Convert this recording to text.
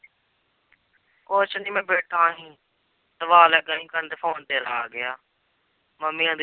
ਕੁਛ ਨੀ ਮੈਂ ਬੈਠਾ ਸੀ, ਦੁਆ ਲੱਗਾ ਸੀ ਕਰਨ ਤੇ phone ਤੇਰਾ ਆ ਗਿਆ, ਮੰਮੀ ਕਹਿੰਦੀ